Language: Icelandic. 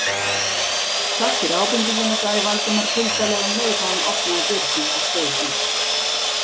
Takk fyrir ábendinguna- sagði Valdimar kuldalega um leið og hann opnaði dyrnar og steig út.